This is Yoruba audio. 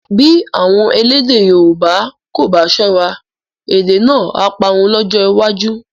Bí àwọn elédè Yorùbá kò bá ṣọ́ra, èdè náà á parun lọ́jọ́ iwájú